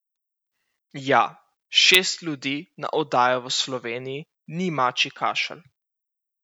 Ja, šest ljudi na oddajo v Sloveniji ni mačji kašelj.